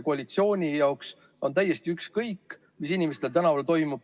Koalitsiooni jaoks on täiesti ükskõik, mis inimestel tänaval toimub.